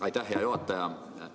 Aitäh, hea juhataja!